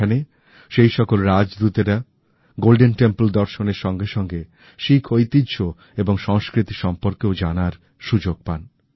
সেখানে সেই সকল রাজদূতেরা গোল্ডেন টেম্পল দর্শনের সঙ্গে সঙ্গে শিখ ঐতিহ্য এবং সংস্কৃতি সম্পর্কেওজানার সুযোগ পান